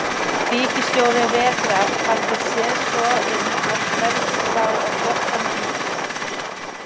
Ríkisstjóri vetrar hafði séð svo um að hvergi sá á dökkan díl.